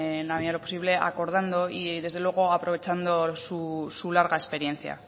en la medida de lo posible acordando y desde luego aprovechando su larga experiencia